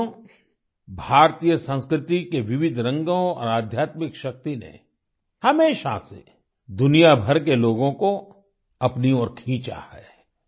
साथियो भारतीय संस्कृति के विविध रंगों और आध्यात्मिक शक्ति ने हमेशा से दुनियाभर के लोगों को अपनी ओर खींचा है